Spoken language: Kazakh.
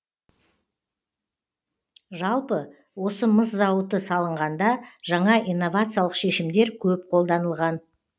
жалпы осы мыс зауыты салынғанда жаңа инновациялық шешімдер көп қолданылған